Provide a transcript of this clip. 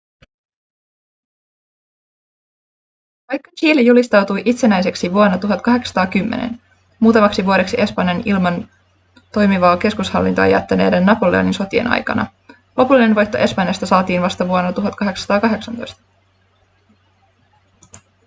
vaikka chile julistautui itsenäiseksi vuonna 1810 muutamaksi vuodeksi espanjan ilman toimivaa keskushallintoa jättäneiden napoleonin sotien aikana lopullinen voitto espanjasta saatiin vasta vuonna 1818